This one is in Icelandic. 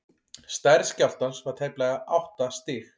stærð skjálftans var tæplega átta stig